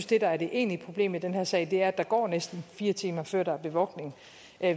det der er det egentlige problem i den her sag er at der går næsten fire timer før der er bevogtning